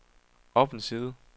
op en side